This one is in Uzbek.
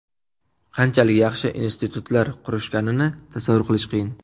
Qanchalik yaxshi institutlar qurishganini tasavvur qilish qiyin.